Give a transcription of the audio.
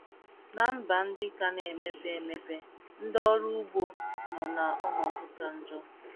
Ná mba ndị ka na - emepe emepe, ndị ọrụ ugbo nọ n’ọnọdụ ka njọ.